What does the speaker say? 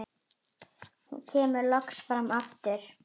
Hún kemur loks fram aftur.